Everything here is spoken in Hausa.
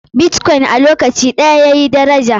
Bitkoin a lokaci ɗaya yazo yayi daraja.